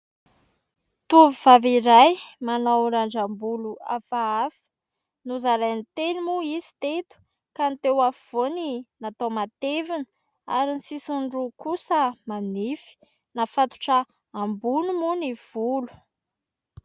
Tovovavy iray manao randram-bolo hafahafa ; nozarainy telo moa izy teto ka ny teo afovoany natao matevina ary ny sisiny roa kosa manify ; nafatotra ambony moa ny volo.